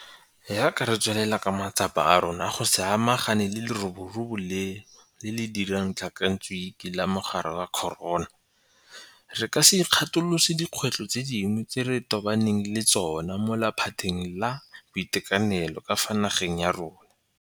Jaaka re tswelela ka matsapa a rona go sa-magana le leroborobo leno le le dirang tlhakantsuke la mogare wa corona, re ka se ikgatolose dikgwetlho tse dingwe tse re tobaneng le tsona mo laphateng la boitekanelo ka fa nageng ya rona.